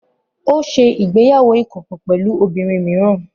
Ó ṣe ìgbéyàwó ìkọ̀kọ̀ pẹ̀lú obìnrin mìíràn